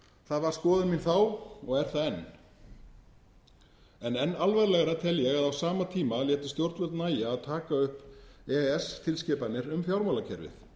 það var skoðun mín þá og er það enn en enn alvarlegra tel ég að á sama tíma létu stjórnvöld nægja að taka upp e e s tilskipanir um fjármálakerfið